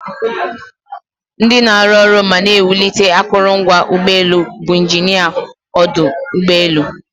Ndị na-arụ arụ ma na-ewulite akụrụngwa ụgbọelu bụ injinia ọdụ ụgbọelu.